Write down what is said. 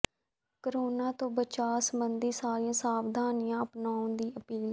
corona ਤੋਂ ਬਚਾਅ ਸਬੰਧੀ ਸਾਰੀਆਂ ਸਾਵਧਾਨੀਆਂ ਅਪਨਾਉਣ ਦੀ ਅਪੀਲ